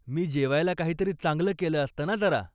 मी जेवायला काहीतरी चांगलं केलं असत ना जरा.